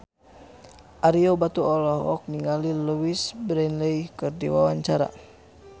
Ario Batu olohok ningali Louise Brealey keur diwawancara